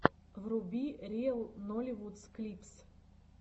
вруби риэл нолливуд клипс